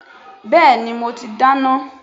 Bẹ́ẹ̀ni mo ti dáná.